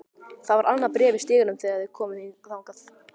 Það var annað bréf í stiganum þegar þeir komu þangað.